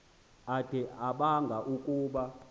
ade abanga ukuba